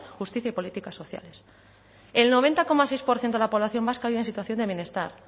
justicia y políticas sociales el noventa coma seis por ciento de la población vasca vive en situación de bienestar